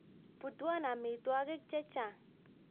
Putwon amitwakik che chang